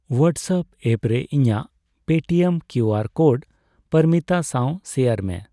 WhatsApp app ᱨᱮ ᱤᱧᱟ.ᱜ Paytm QR code ᱯᱚᱨᱢᱤᱛᱟ ᱥᱟᱣ ᱥᱮᱭᱟᱨ ᱢᱮ